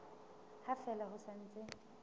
ha fela ho sa ntse